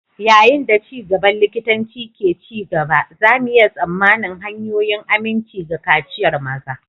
Yayin da ci gaban likitanci ke ci gaba, za mu iya tsammanin hanyoyin aminci ga kaciyar maza.